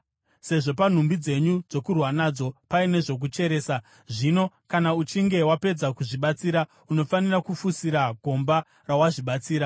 Sezvo panhumbi dzenyu dzokurwa nadzo paine zvokucheresa, zvino kana uchinge wapedza kuzvibatsira, unofanira kufushira gomba rawazvibatsira.